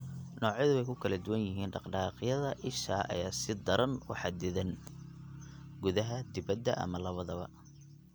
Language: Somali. Noocyadu way ku kala duwan yihiin dhaqdhaqaaqyada isha ayaa si daran u xaddidan (gudaha, dibadda, ama labadaba).